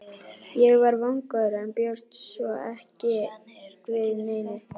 Ég var vongóður en bjóst svo sem ekki við neinu.